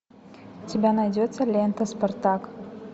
у тебя найдется лента спартак